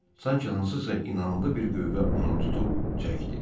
Sanki hansısa inanlı bir qüvvə onu tutub çəkdi.